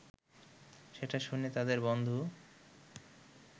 সেটা শুনে তাদের বন্ধু